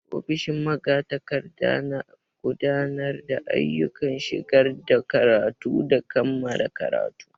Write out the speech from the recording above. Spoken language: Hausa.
Ofishin magatakarda na gudanar da ayyukan shigar da karatu da kammala karatun.